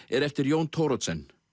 er eftir Jón Thoroddsen